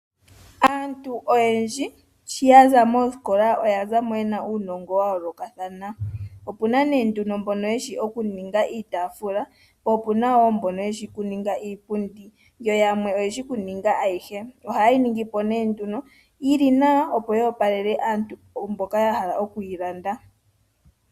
Aantu oyendji shi yaza moosikola oyaza mo yena uunongo wa yoolokathana. Opuna nee nduno mbono yeshi okuninga iitaafula po opuna wo mbono yeshi okuninga iipundi yo yamwe oyeshi kuninga ayihe. Ohaye yi ningi po nee nduno yili nawa opo yoopalele aantubola ya hala okuyilanda.